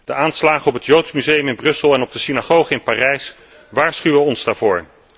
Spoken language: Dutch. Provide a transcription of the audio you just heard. De aanslagen op het Joods museum in Brussel en op de synagoge in Parijs waarschuwen ons daarvoor.